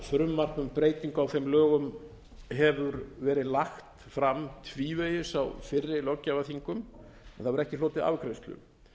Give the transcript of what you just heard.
frumvarp um breytingu á þeim lögum hefur verið lagt fram tvívegis á fyrri löggjafarþingum en hefur ekki hlotið afgreiðslu